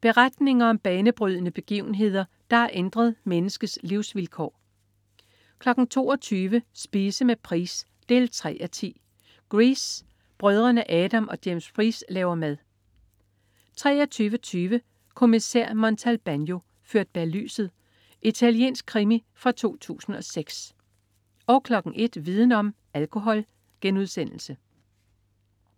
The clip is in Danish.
Beretninger om banebrydende begivenheder, der har ændret menneskets livsvilkår 22.00 Spise med Price 3:10. "Grease". Brødrene Adam og James Price laver mad 23.20 Kommissær Montalbano: Ført bag lyset. Italiensk krimi fra 2006 01.00 Viden om: Alkohol*